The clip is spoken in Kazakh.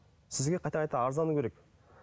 сізге қайта қайта арыздану керек